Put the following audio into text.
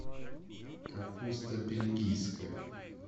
капуста бельгийская